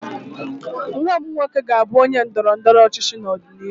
Nwa m nwoke ga-abụ onye ndọrọ ndọrọ ọchịchị n'ọdịnihu